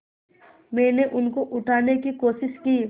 मैंने उनको उठाने की कोशिश की